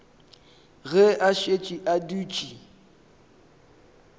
ge a šetše a dutše